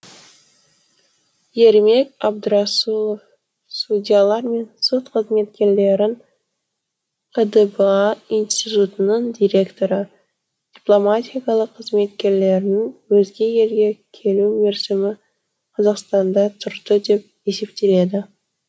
ермек абдрасулов судьялар мен сот қызметкерлерін қдба институтының директоры дипломатиялық қызметкерлердің өзге елге келу мерзімі қазақстанда тұрды деп есептеледі